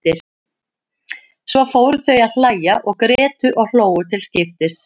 Svo fóru þau að hlæja og grétu og hlógu til skiptis.